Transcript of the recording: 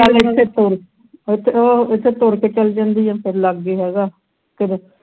ਆਹ ਉਹ ਇੱਥੇ ਤੁਰ ਕੇ ਚਲੀ ਜਾਂਦੀ ਹੈ ਤੇਰੇ ਲਾਗਿ ਹੈਗਾ ਤੇਰੇ